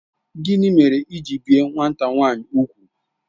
Gịnị mere i ji bie nwata nwanyi úgwù?